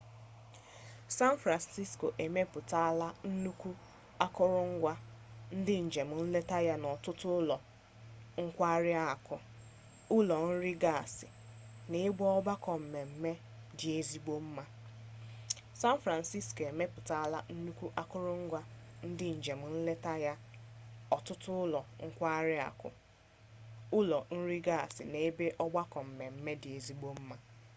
san francisco emepụtala nnukwu akụrụngwa ndị njem nleta ya na ọtụtụ ụlọ nkwarị akụ ụlọ nri gasị na ebe ọgbakọ mmemme dị ezigbo mma